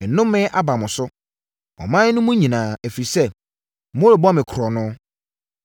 Nnome aba mo so, ɔman mu no nyinaa, ɛfiri sɛ, morebɔ me korɔno.